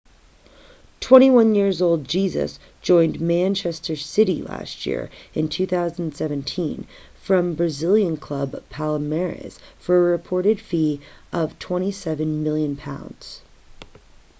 21-year-old jesus joined manchester city last year in january 2017 from brazilian club palmeiras for a reported fee of £27 million